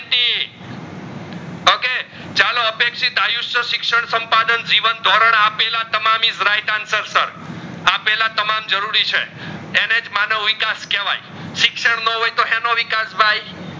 ચાલો અપેક્ષિત આયુશ્વ્ય સિક્ષણ સંપાદન જીવન ધોરણ આપેલા તમામ is right answer sir આપેલા તમામ જરૂરી છે અનેજ માનવ વિકાસ કેહવાય સિક્ષણ નો હોય તો હીનો વિકાશ ભાઈ